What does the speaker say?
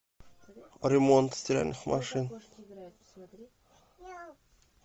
ремонт стиральных машин